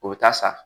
O bɛ taa sa